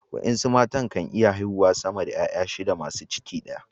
wasu matan kan iya haihuwa sama da ’ya’ya shida masu ciki daya